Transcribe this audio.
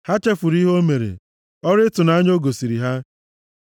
Ha chefuru ihe o mere, ọrụ ịtụnanya o gosiri ha.